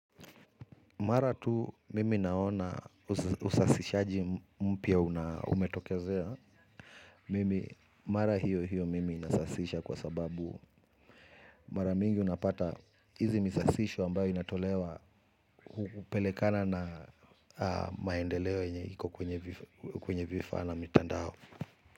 Mara tu mimi naona usasishaji mpya umetokezea. Mimi, mara hiyo hiyo mimi nasasisha kwa sababu. Mara mingi unapata hizi misasisho ambayo inatolewa hupelekana na maendeleo yenye iko kwenye vifaa na mitandao.